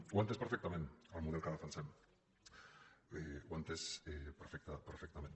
ho ha entès perfectament el model que defensem ho ha entès perfectament